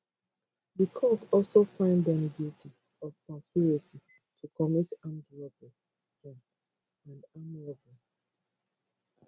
di court also find dem guilty of conspiracy to commit armed robbery um and armed robbery